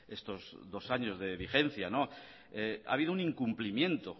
estos dos años de vigencia ha habido un incumplimiento